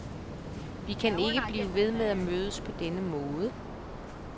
Vi kan ikke blive ved at mødes på denne måde.